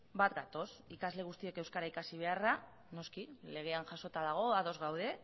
bat gatoz ikasle guztiek euskara ikasi beharra noski legean jasota dago ados gaude